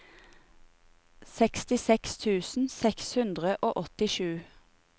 sekstiseks tusen seks hundre og åttisju